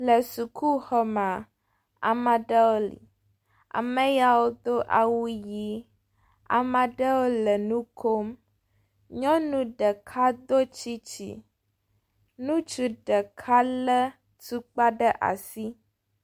Le sukuxɔma amaɖewo ameyawodo awu yi amaɖewo le nukom nyɔnu ɖeka do tsitsin nutsu ɖeka le tukpa ɖe asi